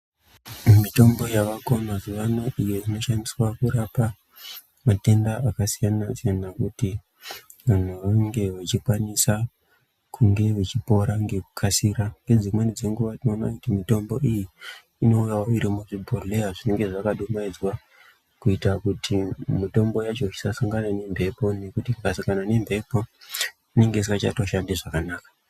Mitombo yavako mazuwaano iyoinoshandiswe kurapa matenda akasiyana siyana kuti vantu vanenge vachikwanisa kunge kuchipora ngekukasika . Ngedzinweni dzenguwa tinoona kuti mitombo iyi inouya iri muzvibhodhleya zvinenge zvakadumaidzwa kuita kuti mitombo yacho isasangana nemphepo nekuti ikasangana nemphepo inenge isingachatoshandi zvakanaka.